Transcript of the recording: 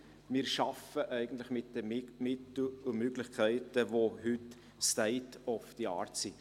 Wir schaffen eigentlich mit den Mitteln und Möglichkeiten, welche heute State of the Art sind.